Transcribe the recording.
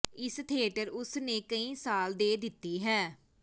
ਇਸ ਥੀਏਟਰ ਉਸ ਨੇ ਕਈ ਸਾਲ ਦੇ ਦਿੱਤੀ ਹੈ